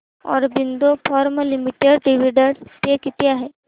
Aurobindo pharma limited dividend pay किती आहे